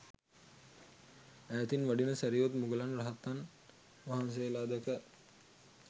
ඈතින් වඩින සැරියුත් මුගලන් රහතන් වහන්සේලා දැක